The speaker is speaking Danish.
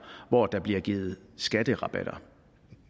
hvor der bliver givet skatterabatter